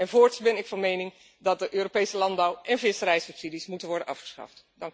En voorts ben ik van mening dat de Europese landbouw en visserijsubsidies moeten worden afgeschaft.